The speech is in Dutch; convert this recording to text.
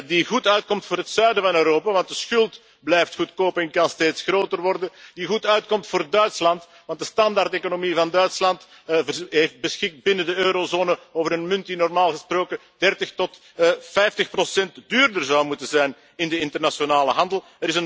die goed uitkomt voor het zuiden van Europa want de schuld blijft goedkoop en kan steeds groter worden die goed uitkomt voor Duitsland want de standaardeconomie van Duitsland beschikt binnen de eurozone over een munt die normaal gesproken 30 tot 50 procent duurder zou moeten zijn in de internationale handel.